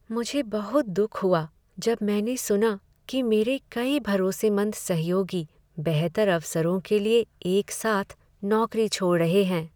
मुझे बहुत दुख हुआ जब मैंने सुना कि मेरे कई भरोसेमंद सहयोगी बेहतर अवसरों के लिए एक साथ नौकरी छोड़ रहे हैं।